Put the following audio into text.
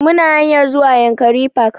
Muna hanyar zuwa yankari park